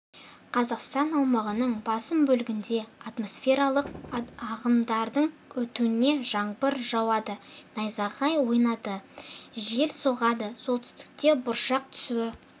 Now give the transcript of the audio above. қазақстан аумағының басым бөлігінде атмосфералық ағымдардың өтуінен жаңбыр жауады найзағай ойнайды жел соғады солтүстікте бұршақ түсуі